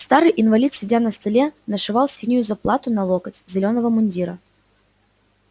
старый инвалид сидя на столе нашивал синюю заплату на локоть зелёного мундира